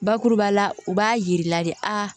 Bakuruba la u b'a yir'i la de aa